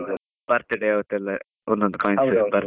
birthday ಒಂದ್ ಒಂದ್ coins .